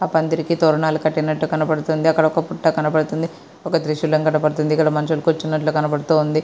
ఆ పందిరి కి తోరణాలు కట్టినట్టు కనబడుతుంది. అక్కడ ఒక పుట్ట కనపడుతుంది. ఒక త్రిశూలం కనబడుతుంది. ఇక్కడ మనుషులు కూర్చున్నట్లు కనబడుతుంది.